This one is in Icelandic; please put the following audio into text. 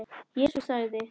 Jesús sagði:.